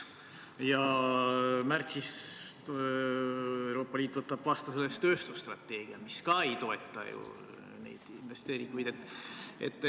Ja märtsis võtab Euroopa Liit vastu tööstusstrateegia, mis ka ei toeta neid investeeringuid.